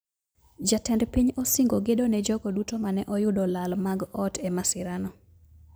Jatend piny osingo gedo ne jogo duto mane oyudolal mag ot e masira no